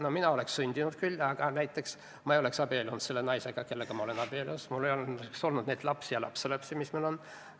No mina oleks sündinud küll, aga näiteks ma ei oleks abiellunud selle naisega, kellega ma olen abielus, mul ei oleks olnud neid lapsi ja lapselapsi, kes mul on.